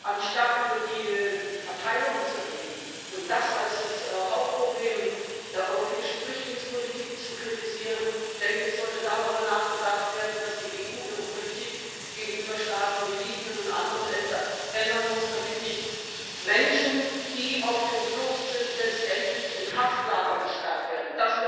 Anstatt über die Verteilung zu reden und das als das Hauptproblem der europäischen Flüchtlingspolitik zu kritisieren, sollte darüber nachgedacht werden, dass die EU ihre Politik gegenüber Staaten wie Libyen und anderen ändern muss, damit nicht Menschen, die auf der Flucht sind, letztendlich in Haftlager gesperrt werden.